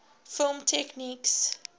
film techniques